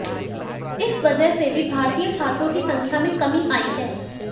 इस वजह से भी भारतीय छात्रों की संख्या में कमी आई है